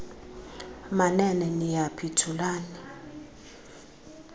manene niyaphi thulani